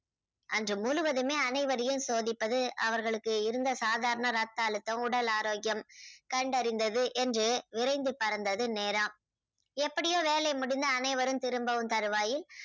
அன்று முழுவதுமே அனைவரையும் சோதிப்பது அவர்களுக்கு இருந்த சாதாரண ரத்த அழுத்தம் உடல் ஆரோக்கியம் கண்டறிந்தது என்று விரைந்து பறந்தது நேரம். எப்படியோ வேலை முடிந்து அனைவரும் திரும்பும் தருவாயில்